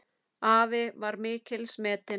Afi var mikils metinn.